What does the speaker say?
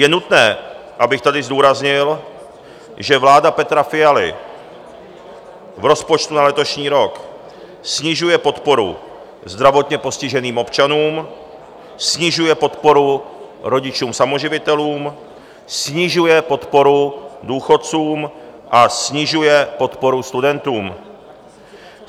Je nutné, abych tady zdůraznil, že vláda Petra Fialy v rozpočtu na letošní rok snižuje podporu zdravotně postiženým občanům, snižuje podporu rodičům samoživitelům, snižuje podporu důchodcům a snižuje podporu studentům.